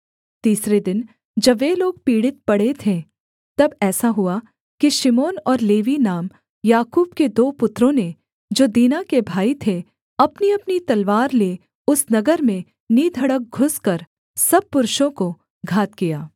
तीसरे दिन जब वे लोग पीड़ित पड़े थे तब ऐसा हुआ कि शिमोन और लेवी नाम याकूब के दो पुत्रों ने जो दीना के भाई थे अपनीअपनी तलवार ले उस नगर में निधड़क घुसकर सब पुरुषों को घात किया